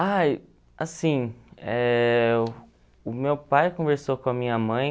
Ai assim, eh o meu pai conversou com a minha mãe.